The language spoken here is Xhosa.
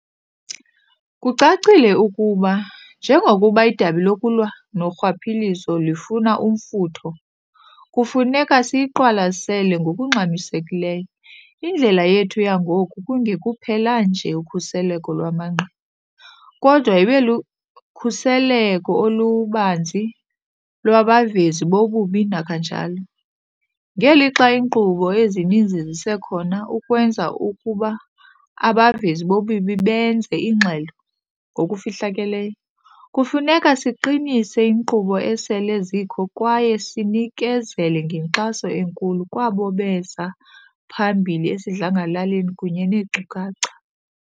Kucacile ukuba njengokuba idabi lokulwa norhwaphilizo lifumana umfutho, kufuneka siyiqwalasele ngokungxamisekileyo indlela yethu yangoku kungekuphela nje ukhuseleko lwamangqina, kodwa ibelukhuseleko olubanzi lwabavezi bobubi kananjalo. Ngelixa iinkqubo ezininzi zisekhona ukwenza ukuba abavezi bobubi benze ingxelo ngokufihlakeleyo, kufuneka siqinise iinkqubo esele zikho kwaye sinikezele ngenkxaso enkulu kwabo beza phambili esidlangalaleni kunye neenkcukacha.